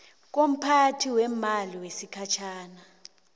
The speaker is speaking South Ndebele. komphathi weemali wesikhatjhana